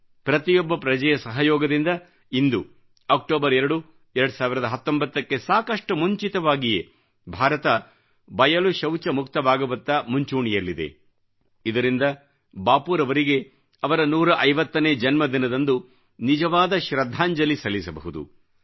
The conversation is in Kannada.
ಪ್ರತಿಯೊಬ್ಬ ಪ್ರಜೆಯ ಸಹಯೋಗದಿಂದ ಇಂದು ಅಕ್ಟೋಬರ್ 2 2019 ಕ್ಕೆ ಸಾಕಷ್ಟು ಮುಂಚಿತವಾಗಿಯೇ ಭಾರತವು ಬಯಲು ಶೌಚ ಮುಕ್ತವಾಗುವತ್ತ ಮಂಚೂಣಿಯಲ್ಲಿದೆ ಇದರಿಂದ ಬಾಪೂರವರಿಗೆ ಅವರ 150 ನೇ ಜನ್ಮದಿನದಂದು ನಿಜವಾದ ಶ್ರದ್ಧಾಂಜಲಿ ಸಲ್ಲಿಸಬಹುದು